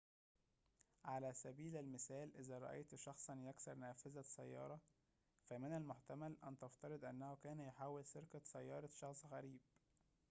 على سبيل المثال إذا رأيت شخصاً يكسر نافذة سيارة فمن المحتمل أن تفترض أنه كان يحاول سرقة سيارة شخص غريب